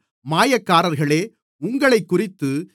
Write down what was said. மாயக்காரர்களே உங்களைக்குறித்து